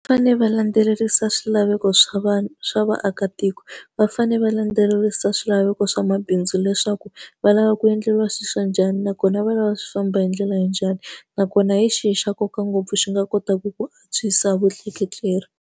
Fanele va landzelerisa swilaveko swa vanhu swa vaakatiko, va fanele va landzelerisa swilaveko swa mabindzu leswaku va lava ku endleriwa sweswo njhani nakona va lava swi famba hi ndlela ya njhani. Nakona hi xihi xa nkoka ngopfu xi nga kotaka ku antswisa vutleketli.